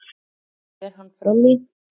og fer hann fram í